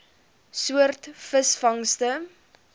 soort visvangste